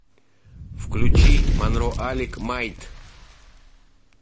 включи монро алик майт